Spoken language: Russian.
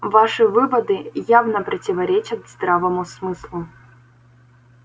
ваши выводы явно противоречат здравому смыслу